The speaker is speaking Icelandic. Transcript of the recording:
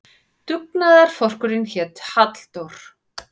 Dugnaðarforkurinn hét Halldór.